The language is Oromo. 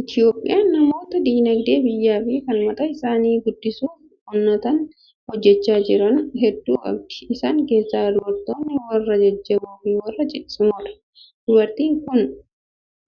Itoophiyaan namoota dinagdee biyyaa fi kan mataa isaanii guddisuuf onnatanii hojjechaa jiran hedduu qabdi. Isaan keessaa dubartoonni warra jajjaboo fi warra ciccimoodha. Dubartiin kun